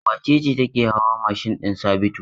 Wace ce take hawa mashin din Sabitu?